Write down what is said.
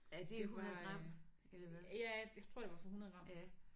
Det var øh ja jeg tror det var for 100 gram